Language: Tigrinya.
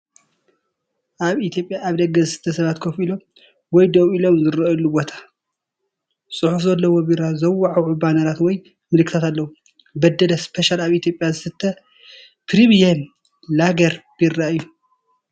ኣብ ኢትዮጵያ ኣብ ደገ ዝስተ ሰባት ኮፍ ኢሎም ወይ ደው ኢሎም ዝረኣየሉ ቦታ። ጽሑፍ ዘለዎ ቢራ ዘወዓውዑ ባነራት ወይ ምልክታት ኣለዉ። "በደለ ስፔሻል" ኣብ ኢትዮጵያ ዝስተ ፕሪምየም ላገር ቢራ እዩ።